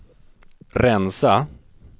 rensa